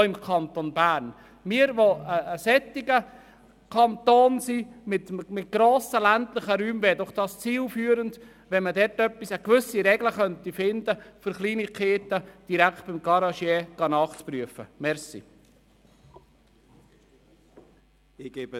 – Im Kanton Bern mit grossen ländlichen Räumen wäre es doch zielführend, man könnte eine Regelung finden, um Kleinigkeiten direkt beim Garagisten nachprüfen zu lassen.